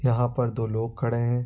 यहाँ पर दो लोग खड़े हैं।